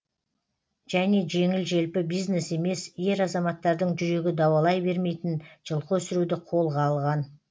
және жеңіл желпі бизнес емес ер азаматтардың жүрегі дауалай бермейтін жылқы өсіруді қолға алған